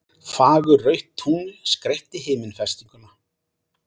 Fagurrautt tungl skreytti himinfestinguna